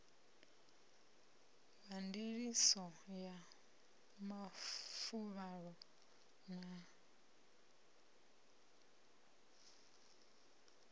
wa ndiliso ya mafuvhalo na